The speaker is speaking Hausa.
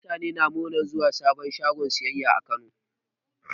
Mutane na muranar zuwan sabon shagon siyayya a Kano.